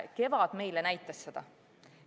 Kevad näitas meile seda.